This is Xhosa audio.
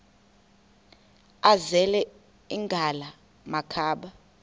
azele ngala makhaba